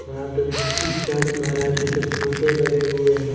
वहाँ पे चर्च महाराज जी के फोटो लगे हुए हैं।